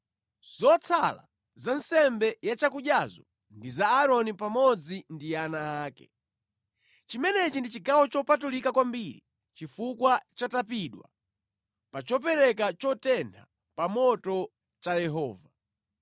Zotsala za nsembe ya chakudyazo ndi za Aaroni pamodzi ndi ana ake. Chimenechi ndi chigawo chopatulika kwambiri chifukwa chatapidwa pa chopereka chotentha pa moto cha Yehova.